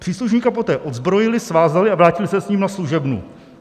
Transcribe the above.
Příslušníka poté odzbrojili, svázali a vrátili se s ním na služebnu.